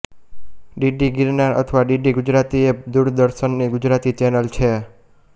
DD Girnar અથવા DD Gujarati એ દૂરદર્શનની ગુજરાતી ચેનલ છે